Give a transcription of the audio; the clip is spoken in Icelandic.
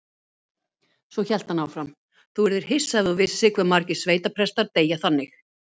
Svo hélt hann áfram: Þú yrðir hissa ef þú vissir hve margir sveitaprestar deyja þannig.